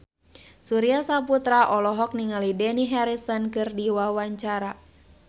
Surya Saputra olohok ningali Dani Harrison keur diwawancara